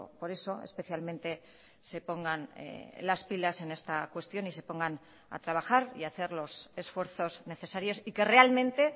por eso especialmente se pongan las pilas en esta cuestión y se pongan a trabajar y hacer los esfuerzos necesarios y que realmente